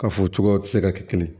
Ka f'o cogo ti se ka kɛ kelen ye